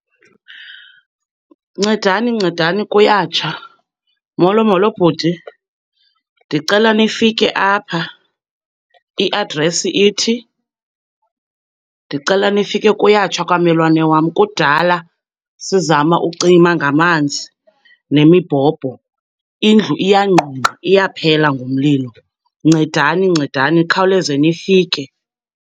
Ncedani, ncedani kuyatsha. Molo, molo bhuti, ndicela nifike apha, i-address ithi. Ndicela nifike, kuyatsha kwammelwane wam. Kudala sizama ukucima ngamanzi nemibhobho, indlu iyangqungqa iyaphela ngumlilo. Ncedani, ncedani nikhawuleze nifike.